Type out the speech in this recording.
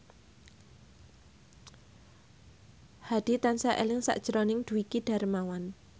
Hadi tansah eling sakjroning Dwiki Darmawan